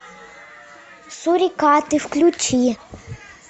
сурикаты включи